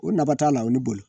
O nafa t'a la o ni boli